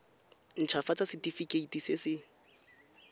nt hafatsa setefikeiti se se